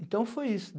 Então foi isso.